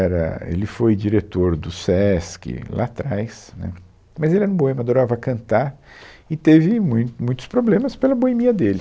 era, Ele foi diretor do Sesc lá trás, né, mas ele era um boêmio, adorava cantar e teve mui, muitos problemas pela boemia dele.